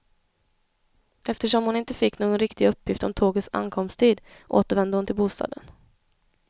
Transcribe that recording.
Eftersom hon inte fick någon riktig uppgift om tågets ankomsttid, återvände hon till bostaden.